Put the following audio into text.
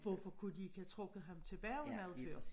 Hvorfor kunne de ikke have trukket ham tilbage noget før